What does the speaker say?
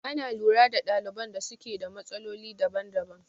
Ana lura da ɗaliban da suke da matsaloli daban daban